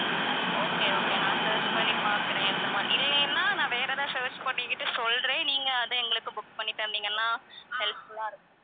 okay okay நான் search பண்ணி பார்க்கிறேன் இந்த மாரி இல்லனா நான் வேற எதாவது search பண்ணிகிட்டு சொல்றேன் நீங்க அதை எங்களுக்கு book பண்ணி தந்தீங்கன்னா help full ஆ இருக்கும்